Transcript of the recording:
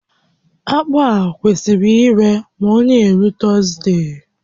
Akpụ a kwesịrị iru ma ọ na-eru Tọzdee